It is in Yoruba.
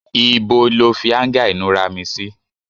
Ìbò lọ fi anga inura mí sí?